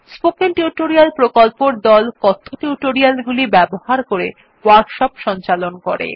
spoken tutorial প্রকল্পর দল কথ্য টিউটোরিয়াল গুলি ব্যবহার করে ওয়ার্কশপ সঞ্চালন করে